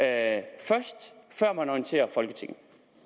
altså før man orienterer folketinget